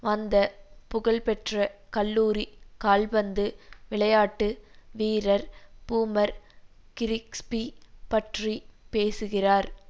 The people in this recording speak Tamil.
வந்த புகழ் பெற்ற கல்லூரிக் கால்பந்து விளையாட்டு வீரர் பூமர் கிரிக்ஸ்பி பற்றி பேசுகிறார்